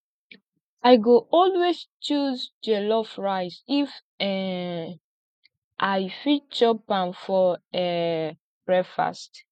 i go always choose jollof rice if um i fit chop am for um breakfast